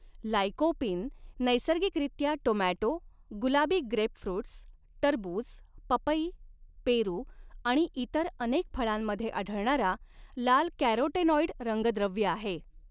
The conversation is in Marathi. लाइकोपीन नैसर्गिकरित्या टोमॅटो गुलाबी ग्रेपफ्रुट्स टरबूज पपई पेरू आणि इतर अनेक फळांमध्ये आढळणारा लाल कॅरोटेनॉइड रंगद्रव्य आहे.